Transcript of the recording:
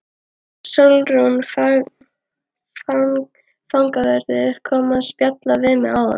Sólrún fangavörður kom að spjalla við mig áðan.